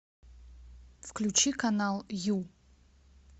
включи канал ю